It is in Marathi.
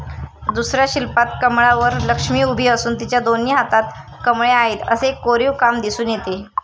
दुसऱ्या शिल्पात कमळावर लक्ष्मी उभी असून तिच्या दोन्ही हातात कमळे आहेत असे कोरीवकाम दिसून येते.